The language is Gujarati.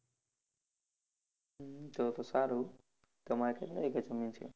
હમ તો તો સારું. તમારે કેટલા વીઘા જમીન છે?